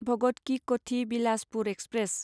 भगत कि क'ठि बिलासपुर एक्सप्रेस